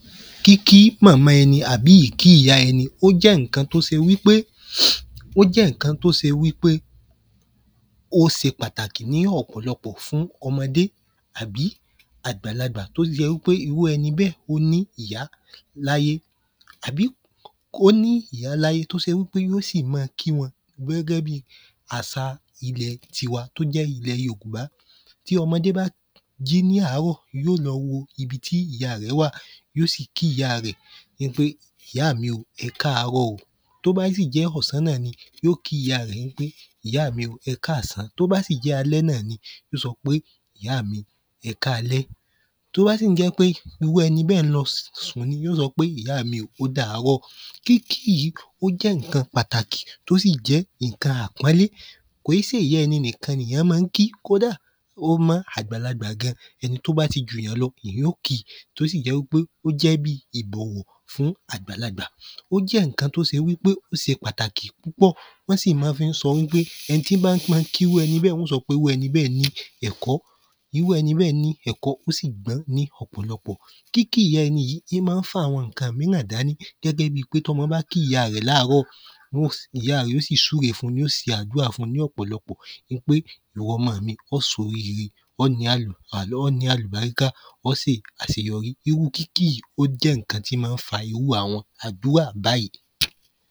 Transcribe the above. Kíkí màmá ẹni àbí ìkí ìyá ẹni ó jẹ́ ǹkan t’ó se wí pé ó se pàtàkì ní ọ̀pọ̀lọpọ̀ fún ọmọdé àbí àgbàlagbà t’ó jẹ́ wí pé irú ẹni bẹ́ẹ̀ ó ní ìyá l'áyé àbí k’ó ní ìyá l'áyé t'ó se wí pe yó sì ma kí wọn gẹ́gẹ́ bi àsa ilẹ̀ tiwa t’ó j̣́ ilẹ̀ yorùbá. Tí ọmọdé bá jí ní àárọ̀ yó lọ wo ibi tí ìya rẹ̀ wà Yí ó sì kí ìya rẹ̀ ní pé ìyá mi ò ẹkáàrọ̀. T’ó bá sì jẹ́ ọ̀sán, yí ó kí ìya rẹ̀ ní pé ìyá mi ò ẹkáàsán. T’ó bá sì jẹ́ alẹ́ náà ni, yí ó sọ pé ìyá mi ò ẹkáalẹ́ T’ó bá sì ń jẹ́ pé irú ẹni bẹ́ẹ̀ ń lọ sùn ni yó sọ pé ìyá mi ò ódáárọ̀ kíkí yìí ó jẹ́ ìnkan pàtàkì ó sí jẹ́ ìnkan àpọ́nlé Kò í sè ìyá ẹni nìkan n’ìyán má ń kí Kódà ó mọ́ àgbàlagbà gan. Ẹni t’ó á ti jù ‘yàn lọ n'íyán ó kìí. T’ó sì jẹ́ wí pé ó jẹ́ bí ìbọ̀wọ̀ dún àgbàlagbà Ó jẹ́ ìnkan t’ó se wí pé ó se pàtàkì púpọ̀ Wọ́n sì má fín ń sọ wí pé ẹni tí ba má ń kí irú ẹni bẹ́ẹ̀ wọ́n sọ wí pé irú ẹni bẹ́ẹ̀ ní ẹ̀kọ́. Irú ẹni bẹ́ẹ̀ ní ẹ̀kọ́ ni ẹ̀kọ́ ósì gbọ́n ní ọ̀pọ̀lọpọ̀ Kíkí ìya ẹni yìí í má ń fa àwọn ǹkan míràn dání gẹ́gẹ́ bi pé t'ọmọ bá kí ìya rẹ̀ l'áàárọ̀ Ìya rẹ̀ ó sì súre fun yó se àdúà fun lọ́pọlọpọ̀ ín pé ìwọ ọmọ mi ó s’oríre à l’ọ ní àlùbáríkà ọ́ sì àseyorí. Irú kíkí yìí ó jẹ́ ìnkan t’ó má ń fa irú àwọn àdúà báyí.